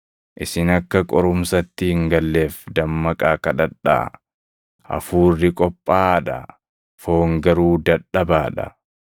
Isin akka qorumsatti hin galleef dammaqaa kadhadhaa. Hafuurri qophaaʼaa dha; foon garuu dadhabaa dha.”